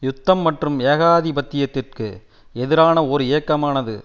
யுத்தம் மற்றும் ஏகாதிபத்தியத்திற்கு எதிரான ஓர் இயக்கமானது